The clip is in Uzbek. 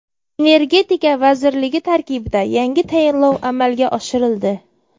Energetika vazirligi tarkibida yangi tayinlov amalga oshirildi.